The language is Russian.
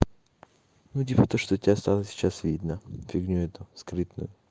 ну типа то что у тебя стало сейчас видно фигню эту скрытную